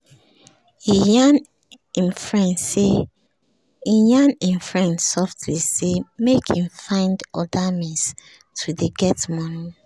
he yarn him friend softly say make him find other means to dey get money